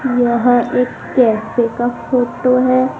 यह एक कैफे का फोटो है।